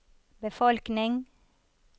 befolkning